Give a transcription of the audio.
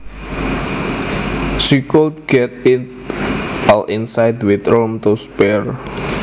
She could get it all inside with room to spare